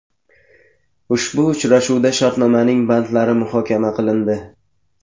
Ushbu uchrashuvda shartnomaning bandlari muhokama qilindi.